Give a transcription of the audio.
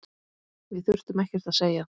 Við þurftum ekkert að segja.